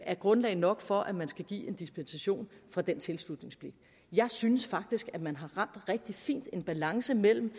er grundlag nok for at man skal give en dispensation fra den tilslutningspligt jeg synes faktisk at man rigtig fint en balance mellem